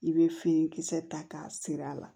I bɛ finikisɛ ta k'a siri a la